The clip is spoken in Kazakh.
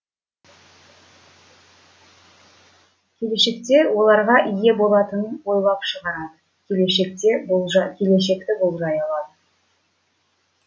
келешекте оларға ие болатынын ойлап шығарады келешекте келешекті болжай алады